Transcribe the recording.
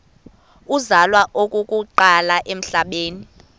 uzalwa okokuqala emhlabeni